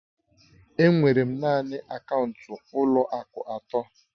Enwere m naanị akaụntụ ụlọ akụ atọ